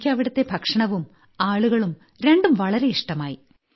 എനിയ്ക്കവിടുത്തെ ഭക്ഷണവും ആളുകളും രണ്ടും വളരെ ഇഷ്ടമായി